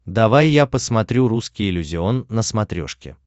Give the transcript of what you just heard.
давай я посмотрю русский иллюзион на смотрешке